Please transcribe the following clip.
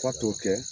F'a t'o kɛ